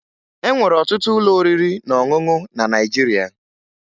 E nwere ọtụtụ ụlọ oriri na ọṅụṅụ na Naịjirịa